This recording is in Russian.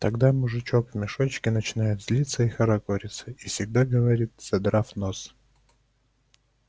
тогда мужичок в мешочке начинает злиться и хорохориться и всегда говорит задрав нос